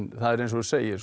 það er eins og þú segir